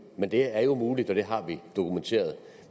men det er jo muligt og det har vi dokumenteret